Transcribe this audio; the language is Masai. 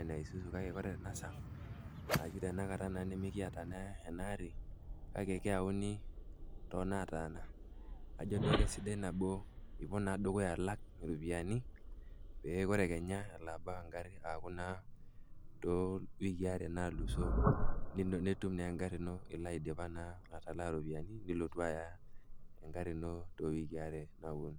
enaa isuzu kake oore tenaa saa arashu tenakata nemekiata naa enaari kake keyauni tonetaana. Ajo duo aake sidai nabo enilo dukuya alak ropiyaini pee oore keenya eelo abau egari aaku naa iwikii aare nalusoo nitum naa egari iino io aidipa naa atalaa iropiyiani nilotu aaya egari iino too eikii aare naponu.